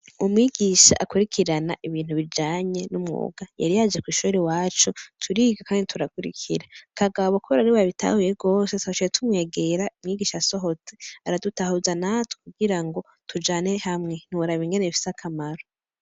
Umwigisha akwirikirana ibintu bijanye n'umwuga ,yari yaje kwishure iwacu turiga kandi turakwirikira ,kagabo kubera ariwe yabitahuye gose twaciye tumwegera umwigisha asohotse aradutahuza natwe kugira tujane hamwe ntiworaba ukuntu bifise akamaro.